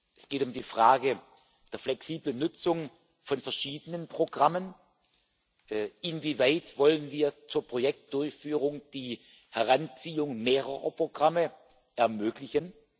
Es geht um die Frage der flexiblen Nutzung von verschiedenen Programmen Inwieweit wollen wir zur Projektdurchführung die Heranziehung mehrerer Programme ermöglichen?